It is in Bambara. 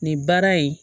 Nin baara in